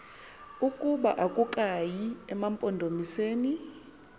ukuba akukayi emampondomiseni